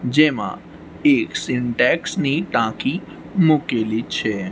જેમાં એક સિન્ટેક્સ ની ટાંકી મૂકેલી છે.